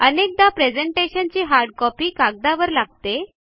अनेकदा प्रेझेंटेशनची hard copy कागदावर लागते